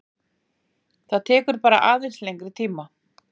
Það tekur bara aðeins lengri tíma